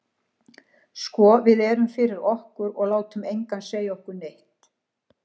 Sko við erum fyrir okkur, og látum engan segja okkur neitt.